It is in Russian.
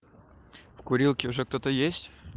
курилке уже кто-то есть